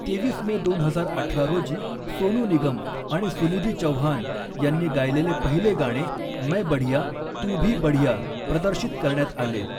तेवीस मे दोन हजार अठरा रोजी सोनू निगम आणि सुनिधी चौहान यांनी गायलेले पहिले गाणे, 'मैं बढिया तू भी बढिया' प्रदर्शित करण्यात आले.